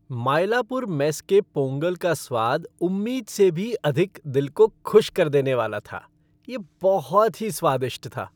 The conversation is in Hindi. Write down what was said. मायलापुर मेस के पोंगल का स्वाद उम्मीद से भी अधिक दिल को खुश कर देने वाला था। यह बहुत ही स्वादिष्ट था।